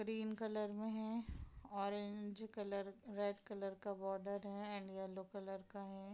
Green colour में है orange colour red colour का बोर्डेर है एंड येलो कलर का है।